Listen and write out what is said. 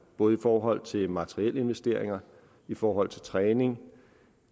både i forhold til materielle investeringer i forhold til træning